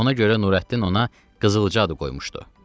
Ona görə Nurəddin ona Qızılca adı qoymuşdu.